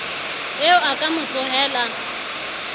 eo a ka mo tsohela